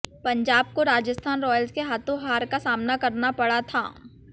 पंजाब को राजस्थान रॉयल्स के हाथों हार का सामना करना पड़ा था